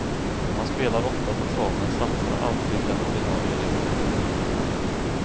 Han spelar ofta på trav men satsar aldrig den ordinarie lönen.